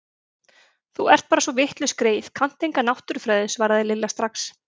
Þú ert bara svo vitlaus greyið, kannt enga náttúrufræði svaraði Lilla strax.